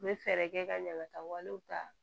N bɛ fɛɛrɛ kɛ ka ɲagataw ta